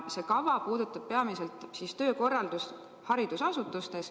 See kava puudutab peamiselt töökorraldust haridusasutustes.